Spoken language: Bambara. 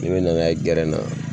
Ne na n'a ye gɛrɛn na